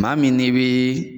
Maa min n'i bi